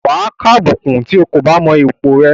Wà á kàbùkùn tí o kò bá mọ ipò rẹ.